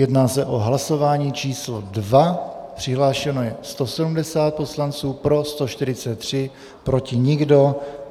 Jedná se o hlasování číslo 2, přihlášeno je 170 poslanců, pro 143, proti nikdo.